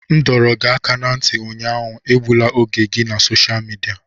M dọrọ gị aka ná ntị ụnyaahụ, egbula oge gị na sosha midia!